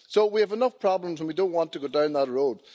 So we have enough problems and we don't want to go down that road.